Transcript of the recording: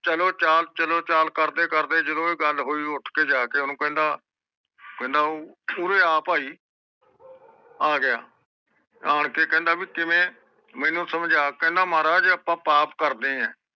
ਚਲੋ ਚਾਲ ਚਲੋ ਚਾਲ ਕਰਦੇ ਜਿਦੋ ਵੀ ਤਗੱਲ ਹੋਇ ਉਠਕੇ ਜਾ ਕੇ ਓਹਨੂੰ ਕਹਿੰਦਾ ਕਹਿੰਦਾ ਉ ਉਰੇ ਆ ਭਾਈ ਆਗਿਆ ਆਣਕੇ ਕਹਿੰਦਾ ਭਾਈ ਕਿਵੇਂ ਮੇਨੂ ਸਮਜਾ ਕਹਿੰਦਾ ਜੇ ਆਪ ਪਾਪ ਕਰਦੇ ਆ